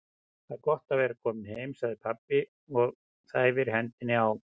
Það er gott að vera kominn heim, segir pabbi og þæfir hendina á